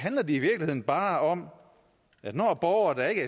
i virkeligheden bare om at når borgere der ikke